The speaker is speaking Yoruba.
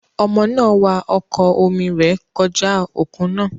Ọmọ náà wa ọkọ̀ omi rẹ̀ kọjá òkun náà.